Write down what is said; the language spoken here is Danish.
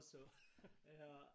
Så ja